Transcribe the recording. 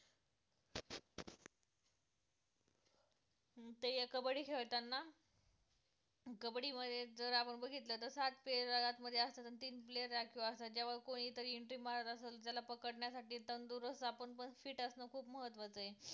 अं ते ये कबड्डी खेळताना कबड्डी मध्ये जर आपण बघितलं तर सात player आत मध्ये असतात आणि तीन player राखीव असतात जेव्हा कोणीतरी entry मारत असेल त्याला पकडण्यासाठी तंदुरुस्त आपण पण fit असणं खूप महत्वाचं आहे